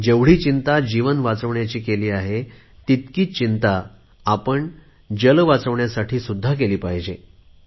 जेवढी ही चिंता जीवन वाचवण्यासाठी आहे तितकीच चिंता पाणी वाचवण्यासाठी केली पाहिजे